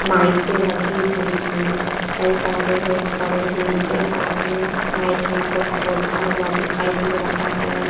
माइकें लगी हुई हैं। कई सारे लोग खड़े हैं। एक आदमी माइक में कुछ बोलता हुआ दिखाई दे रहा है।